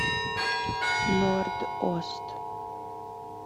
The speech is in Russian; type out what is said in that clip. норд ост